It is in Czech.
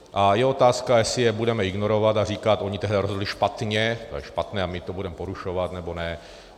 A je otázka, jestli je budeme ignorovat a říkat: oni tehdy rozhodli špatně, to je špatné a my to budeme porušovat, nebo ne.